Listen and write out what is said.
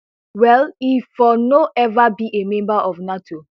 well e for no ever be a member of nato